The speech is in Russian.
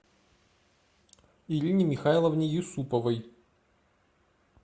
ирине михайловне юсуповой